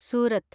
Surat